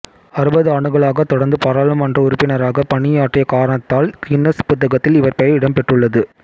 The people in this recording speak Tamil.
அறுபதாண்டுகளாகத் தொடர்ந்து பாராளுமன்ற உறுப்பினராகப் பணி ஆற்றிய காரணத்தால் கின்னஸ் புத்தகத்தில் இவர் பெயர் இடம் பெற்றுள்ளது